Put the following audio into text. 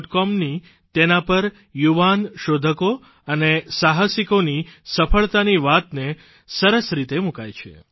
comની તેના પર યુવાન શોધકો અને સાહસિકોની સફળતાની વાતને સરસ રીતે મૂકાય છે